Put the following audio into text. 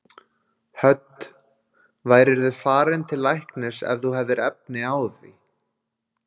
Hödd: Værirðu farinn til læknis ef þú hefðir efni á því?